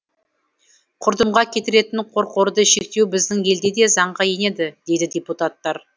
құрдымға кетіретін қорқорды шектеу біздің елде де заңға енеді дейді депутаттар